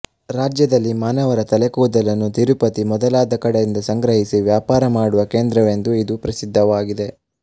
ರಾಜ್ಯದಲ್ಲಿ ಮಾನವರ ತಲೆಕೂದಲನ್ನು ತಿರುಪತಿ ಮೊದಲಾದ ಕಡೆಯಿಂದ ಸಂಗ್ರಹಿಸಿ ವ್ಯಾಪಾರ ಮಾಡುವ ಕೇಂದ್ರವೆಂದೂ ಇದು ಪ್ರಸಿದ್ಧವಾಗಿದೆ